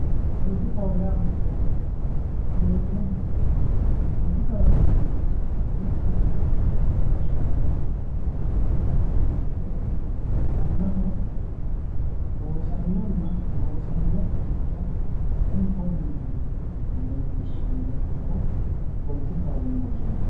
Poletikaho yaa mayyatero dileellinohe poletikaho yinannihu mitte gashshaano poletika horoonsidhe mannaho loosaminonna loosaminokkiricho kuni konneeti yite leellishshanno doogo poletikaho yine woshshinanni